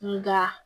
Nga